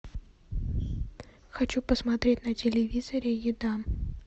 хочу посмотреть на телевизоре еда